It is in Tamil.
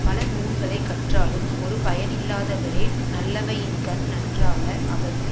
பலநூல்களைக் கற்றாலும் ஒருபயனில்லாதவரே நல்லவையின்கண் நன்றாக அவர்க்கு